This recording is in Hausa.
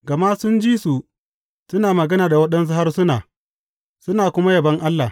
Gama sun ji su suna magana da waɗansu harsuna suna kuma yabon Allah.